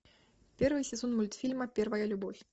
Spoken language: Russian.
первый сезон мультфильма первая любовь